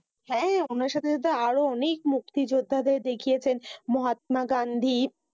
হ্যাঁ উনার সাথে সাথে আরও অনেক মুক্তিযুদ্ধাদের দেখিয়েছে। মহাত্মা গান্ধী